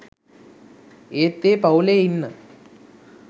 ඒත් ඒ පවු‍ලේ ඉන්න